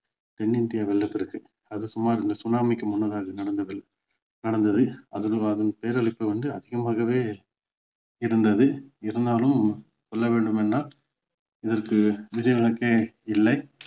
தென் India வெள்ளப்பெருக்கு அது சுமார் இந்த tsunami க்கு முன்னதாக அது நடந்தது நடந்தது அதன் பேரழிவு வந்து அதிகமாகவே இருந்தது இருந்தாலும் சொல்ல வேண்டும் என்றால் இதற்கு விதிவிலக்கே இல்லை